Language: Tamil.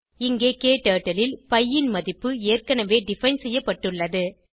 இங்கே க்டர்ட்டில் ல் பி ன் மதிப்பு ஏற்கனவேdefine செய்யப்பட்டுள்ளது